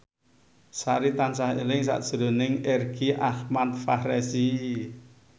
Sari tansah eling sakjroning Irgi Ahmad Fahrezi